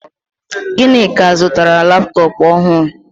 Ginika zụtara laptọọpụ ọhụrụ